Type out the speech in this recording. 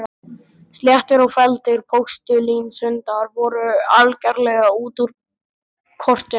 Sléttir og felldir postulínshundar voru algerlega út úr kortinu.